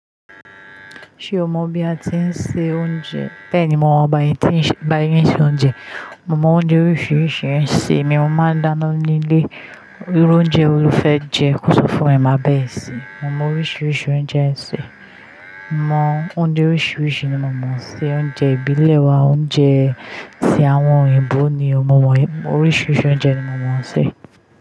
Ṣé o mọ bí a ti ń se oúnjẹ? Bẹ́ẹ̀ni, mo mọ̀ bá yín ṣe oúnjẹ. Mo mọ oúnjẹ oríṣiríṣi ń sè, èmi mo máa ń dáná nílé. Irú oúnjẹ wo lo fẹ́ jẹ kò so fún ẹ máa bá ẹ sè. Mo mọ oríṣiríṣi oúnjẹ ẹ ń sè. Mo mọ oúnjẹ oríṣiríṣi ni mo mọ̀ ṣe. Oúnjẹ ìbílẹ̀ wa, oúnjẹ tí àwọn òyìnbó ni mo mọ̀. Oríṣiríṣi oúnjẹ ni mo mọ̀ ṣe.